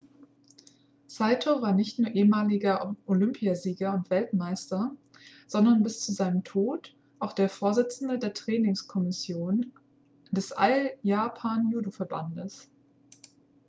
saito war nicht nur ehemaliger olympiasieger und weltmeister sondern bis zu seinem tod auch der vorsitzende der trainingskommission des all japan judoverbandes